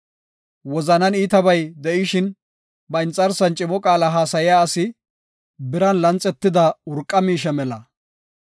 Wozanan iitabay de7ishin, ba inxarsan cimo qaala haasaya asi biran lanxetida urqa miishe mela.